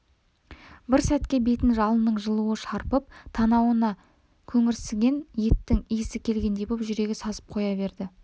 бір сәтке бетін жалынның жылуы шарпып танауына көңірсіген еттің исі келгендей боп жүрегі сазып қоя берді